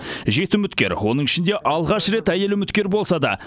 жеті үміткер оның ішінде алғаш рет әйел үміткер болса да